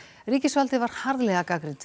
ríkisvaldið var harðlega gagnrýnt